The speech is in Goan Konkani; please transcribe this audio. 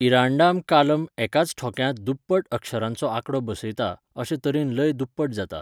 इरांडाम कालम एकाच ठोक्यांत दुप्पट अक्षरांचो आंकडो बसयता, अशे तरेन लय दुप्पट जाता.